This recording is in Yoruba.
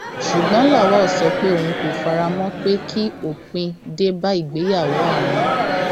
ṣùgbọn lawal sọ pé òun kò fara mọ pé kí òpin dé bá ìgbéyàwó àwọn